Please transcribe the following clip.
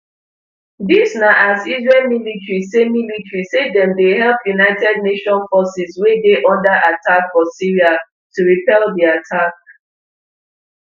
dis na as israel military say military say dem dey help un forces wey dey under attack for syria to repel di attack